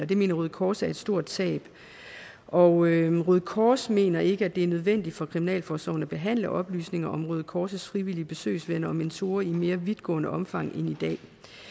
det mener røde kors er et stort tab og røde kors mener ikke at det er nødvendigt for kriminalforsorgen at behandle oplysninger om røde kors frivillige besøgsvenner og mentorer i mere vidtgående omfang end i dag